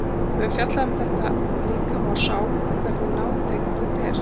Við höfum fjallað um að rækta líkama og sál og hversu nátengt þetta tvennt er.